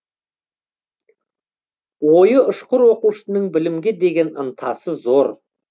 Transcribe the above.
ойы ұшқыр оқушының білімге деген ынтасы зор